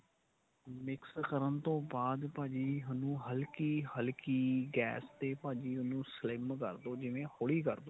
mix ਕਰਨ ਤੋਂ ਬਾਅਦ ਭਾਜੀ ਉਹਨੂੰ ਹਲਕੀ ਹਲਕੀ ਗੈਸ ਤੇ ਭਾਜੀ ਉਹਨੂੰ sim ਕਰਦੋ ਜਿਵੇਂ ਹੋਲੀ ਕਰਦੋ